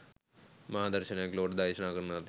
මහා දර්ශනයක් ලොවට දේශනා කරන ලදි